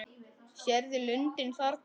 Sérðu lundinn þarna?